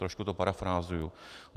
Trošku to parafrázuji.